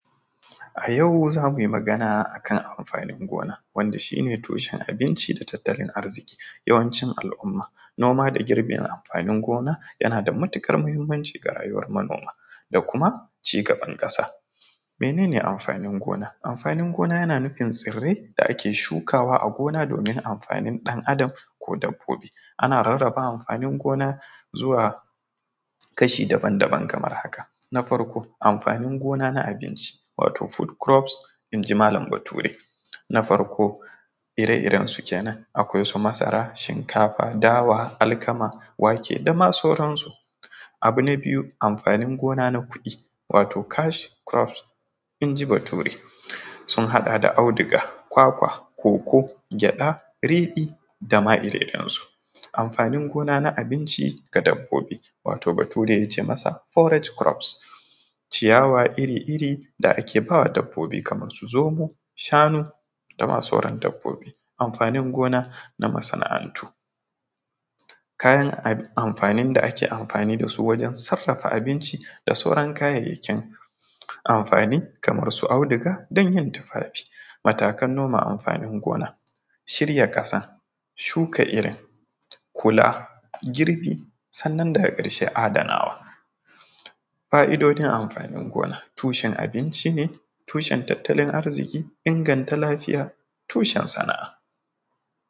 A yau zamu yi magana akan amfanin gona wanda shi ne tushen abinci da tattalin arziƙi yawancin al’umma noma da girbin, amfanin gona yana da matuƙar muhimmanci ga rayuwar manoma da kuma cigaban ƙasa, mene ne amfanin gona? amfanin gona yana nufin tsirai da ake shukawa a gona domin amfanin ɗan adam ko dabbobi ana rarrabawa amfanin gona zuwa kashi daban-daban kamar haka, na farko amfanin gona na abinci wato fruit crops inji malam bature, na farko ire-iren su kenan akwai su masara, shinkafa, dawa, alkama, wake dama sauran su, abu na biyu amfanin gona na kuɗi wato cash crops inji bature sun haɗa da auduga, kwakwa cocoa, gyaɗa, riɗi, dama ire iren su, amfanin gona na abinci da dabbobi wato bature yake cema sa forage crops ciyawa iri-iri da ake bawa dabbobi kamar su, zomo, shanu dama sauran dabbobi, amfanin gona na masana’antu kayan amfanin da ake amfani da su wajen sarafa abinci da sauran kayayyakin amfani kamar su, auduga, ganyen tufafi, matakan noman, amfanin gona, shirya ƙasa, shuka irin, kula girbi, sannan daga ƙarshe adanawa. Fa’idojin amfanin gona tushen abinci ne tushen tattalin arziƙi inganta lafiya tushen sana’a.